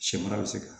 Sɛmara bɛ se ka